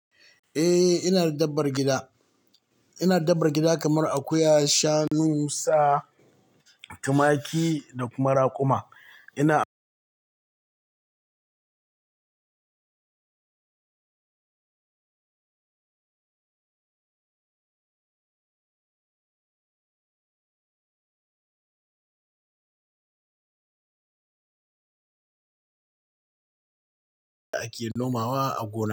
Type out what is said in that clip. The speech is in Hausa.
Eh ina da dabbar gida. Ina da dabbar gida kamar akuya, shanu, sa, tumaki da kuma raƙuma. Ina a ƙiyallon Mawa a Gona.